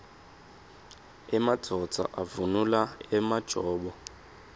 emadvodza avunula emajobo